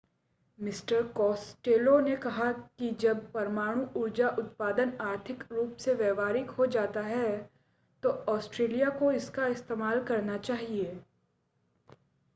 mister Costello ने कहा कि जब परमाणु ऊर्जा उत्पादन आर्थिक रूप से व्यावहारिक हो जाता है तो ऑस्ट्रेलिया को इसका इस्तेमाल करना चाहिए